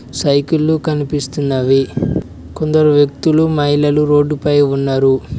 సైకిళ్లు కనిపిస్తున్నవి కొందరు వ్యక్తులు మహిళలు రోడ్డుపై ఉన్నరు.